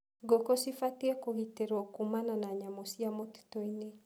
Ngũkũ cibatie kũgitĩrwo kumana na nyamũ cia mũtituinĩ.